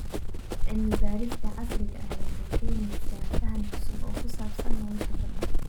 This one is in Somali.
Cilmi-baarista casriga ahi waxay keenaysaa faham cusub oo ku saabsan nolosha badda.